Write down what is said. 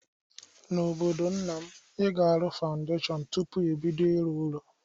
N'obodo nna m, ị ga-arụ fawndeshọn tụpụ ibido ịrụ ụlọ.